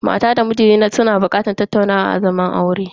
Mata da miji na bukatar tattaunawa a zaman aure.